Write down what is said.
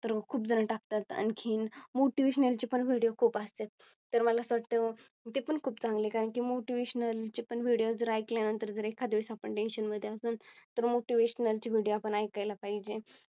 तर खूप जण टाकतात. आणखीन Motivational चे Video खूप असतेत. तर मला असे वाटते ते पण खूप चांगले कारण की Motivational चे पण Vidao जर ऐकल्या नंतर जर एखाद वेळेस आपण Tension मध्ये असून तर Motivational चे Video आपण ऐकायला पाहिजे.